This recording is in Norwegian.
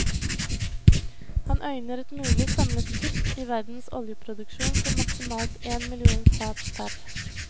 Han øyner et mulig samlet kutt i verdens oljeproduksjon på maksimalt én million fat pr.